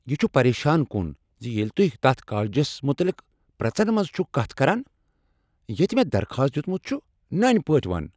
یہ چھ پریشان کن ز ییٚلہ تہۍ تتھ کالجس متعلق پرٛژن منز چھکھ کتھ کران ییٚتہ مےٚ درخواست دیُتمت چھُ۔ نٔنۍ پٲٹھۍ ون۔